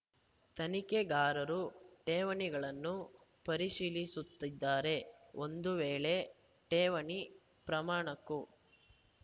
ತನಿಖೆಗಾರರು ಠೇವಣಿಗಳನ್ನು ಪರಿಶೀಲಿಸುತ್ತಿದ್ದಾರೆ ಒಂದು ವೇಳೆ ಠೇವಣಿ ಪ್ರಮಾಣಕ್ಕೂ